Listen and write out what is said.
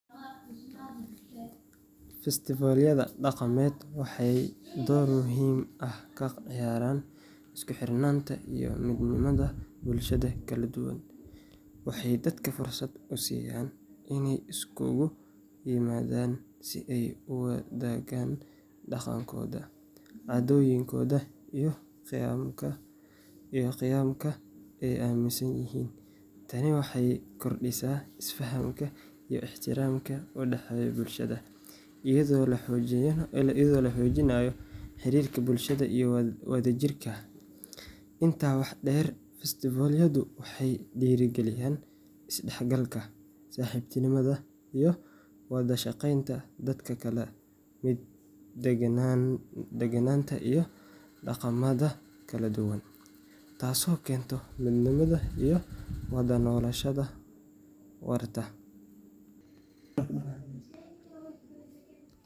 Festival-yada dhaqameed waxay door muhiim ah ka ciyaaraan isku xirnaanta iyo midnimada bulshada kala duwan. Waxay dadka fursad u siiyaan inay isugu yimaadaan si ay u wadaagaan dhaqankooda, caadooyinkooda iyo qiyamka ay aaminsan yihiin. Tani waxay kordhisaa isfahamka iyo ixtiraamka u dhexeeya bulshada, iyadoo la xoojinayo xiriirka bulshada iyo wadajirka. Intaa waxaa dheer, festival-yadu waxay dhiirrigeliyaan is-dhexgalka, saaxiibtinimada, iyo wada shaqeynta dadka ka kala yimid deegaanada iyo dhaqamada kala duwan, taasoo keenta midnimo iyo wada noolaansho waarta.